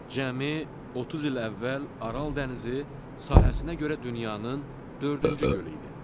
Cəmi 30 il əvvəl Aral dənizi sahəsinə görə dünyanın dördüncü gölü idi.